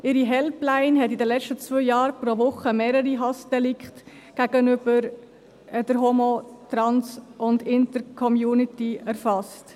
Ihre Helpline hat in den letzten zwei Jahren pro Woche mehrere Hassdelikte gegenüber der Homo-, Trans- und Intercommunity erfasst.